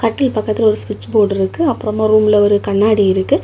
கட்டில் பக்கத்துல ஒரு ஸ்விட்ச் போர்டு இருக்கு அப்புறமா ரூம்ல ஒரு கண்ணாடி இருக்கு.